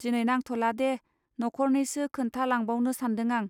दिनै नांथ'लादे न'खरनैसो खोन्था लांबावनो सान्दों आं.